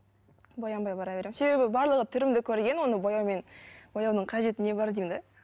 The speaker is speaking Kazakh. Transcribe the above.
боянбай бара беремін себебі барлығы түрімді көрген оны бояумен бояудың қажеті не бар деймін де